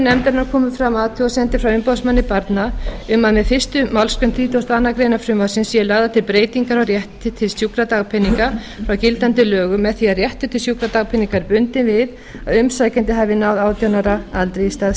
nefndarinnar komu fram athugasemdir frá umboðsmanni barna um að með fyrstu málsgrein þrítugustu og aðra grein frumvarpsins séu lagðar til breytingar á rétti til sjúkradagpeninga frá gildandi lögum með því að réttur til sjúkradagpeninga er bundinn við að umsækjandi hafi náð átján ára aldri í stað